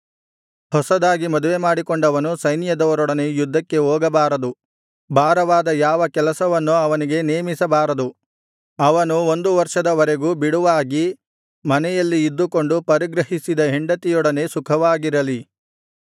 ಹೊಸದಾಗಿ ಮದುವೆಮಾಡಿಕೊಂಡವನು ಸೈನ್ಯದವರೊಡನೆ ಯುದ್ಧಕ್ಕೆ ಹೋಗಬಾರದು ಭಾರವಾದ ಯಾವ ಕೆಲಸವನ್ನೂ ಅವನಿಗೆ ನೇಮಿಸಬಾರದು ಅವನು ಒಂದು ವರ್ಷದ ವರೆಗೂ ಬಿಡುವಾಗಿ ಮನೆಯಲ್ಲಿ ಇದ್ದುಕೊಂಡು ಪರಿಗ್ರಹಿಸಿದ ಹೆಂಡತಿಯೊಡನೆ ಸುಖವಾಗಿರಲಿ